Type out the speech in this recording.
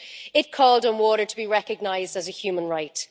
It called for water to be recognised as a human right.